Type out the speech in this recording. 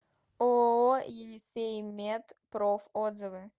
ооо енисеймед проф отзывы